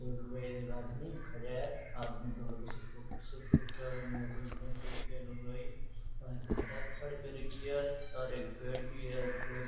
उधर एक आदमी खड्या है लुगाई न साड़ी पहन रखी है और एक पेड़ की।